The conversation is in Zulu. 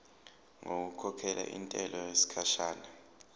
ngokukhokhela intela yesikhashana